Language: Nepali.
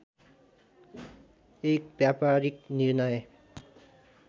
एक व्यापारीक निर्णय